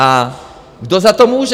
A kdo za to může?